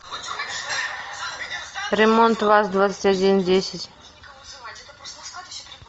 ремонт ваз двадцать один десять